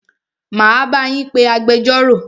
Máa bá yín pé agbẹjọ́rò.